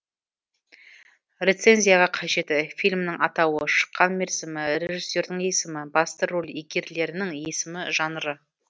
рецензияға қажеті фильмнің атауы шыққан мерзімі режиссердің есімі басты рөл иегерлерінің есімі жанры